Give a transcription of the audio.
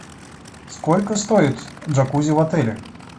сколько стоит джакузи в отеле